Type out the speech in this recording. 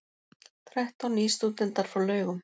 Þrettán nýstúdentar frá Laugum